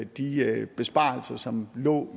de besparelser som lå